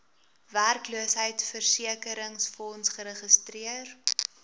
werkloosheidversekeringsfonds geregistreer